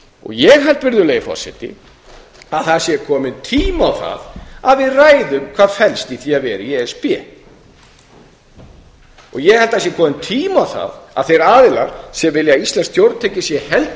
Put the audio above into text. ég held að það sé kominn tími á það að við ræðum hvað felst í því að vera í e s b og ég held að það sé kominn tími á það að þeir aðilar sem vilja að íslenskt stjórnkerfi sé